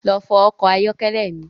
Lọ fọ ọkọ̀ ayọ́kẹ́lẹ́ mi